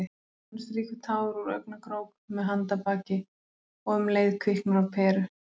Hann strýkur tár úr augnakrók með handarbaki- og um leið kviknar á peru.